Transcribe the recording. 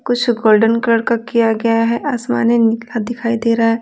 कुछ golden colour का किया गया है आसमानी नीला दिखाई दे रहा है।